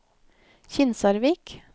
Kinsarvik